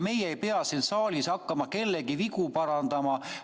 Meie ei pea siin saalis hakkama kellegi vigu parandama.